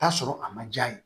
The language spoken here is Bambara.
Taa sɔrɔ a ma diya ye